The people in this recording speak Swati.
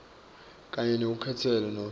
kanye nelukhenkhetfo nobe